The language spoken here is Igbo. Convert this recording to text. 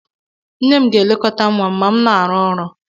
Nne m ga-elekọta nwa m ma m na-arụ ọrụ